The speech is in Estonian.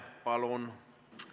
Palun!